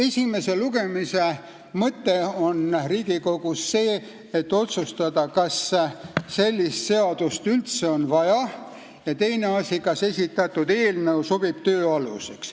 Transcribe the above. Esimese lugemise mõte Riigikogus on see, et otsustatakse, kas sellist seadust üldse on vaja, ja teine asi, kas esitatud eelnõu sobib töö aluseks.